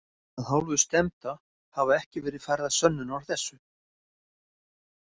Af hálfu stefnda hafa ekki verið færðar sönnur að þessu.